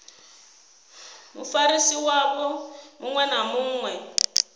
mufarisi wavho muṅwe na muṅwe